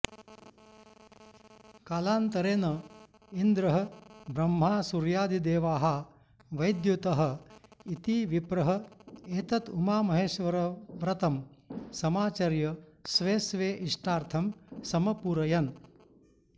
कालान्तरेन इन्द्रः ब्रह्मा सूर्यादिदेवाः वैद्युतः इति विप्रः एतत् उमामहेश्वरव्रतं समाचर्य स्वे स्वे इष्टार्थं समपूरयन्